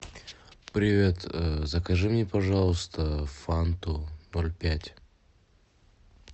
привет закажи мне пожалуйста фанту ноль пять